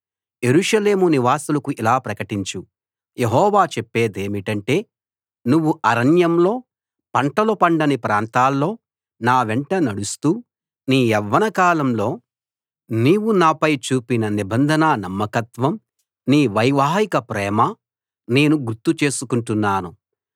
యెరూషలేము నివాసులకు ఇలా ప్రకటించు యెహోవా చెప్పేదేమిటంటే నువ్వు అరణ్యంలో పంటలు పండని ప్రాంతాల్లో నా వెంట నడుస్తూ నీ యవ్వనకాలంలో నీవు నాపై చూపిన నిబంధన నమ్మకత్వం నీ వైవాహిక ప్రేమ నేను గుర్తు చేసుకుంటున్నాను